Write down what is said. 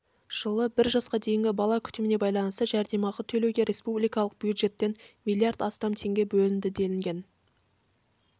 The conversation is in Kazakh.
жылы бір жасқа дейінгі бала күтіміне байланысты жәрдемақы төлеуге республикалық бюджеттен млрд астам теңге бөлінді делінген